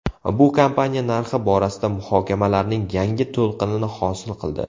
Bu kompaniya narxi borasida muhokamalarning yangi to‘lqinini hosil qildi.